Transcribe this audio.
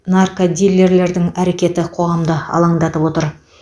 наркодилерлердің әрекеті қоғамды алаңдатып отыр